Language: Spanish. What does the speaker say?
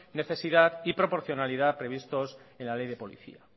necesidad y proporcionalidad previstos en la ley de policía